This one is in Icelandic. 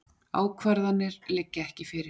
Ákvarðanir liggja ekki fyrir